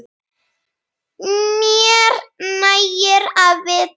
Mér nægir að vita af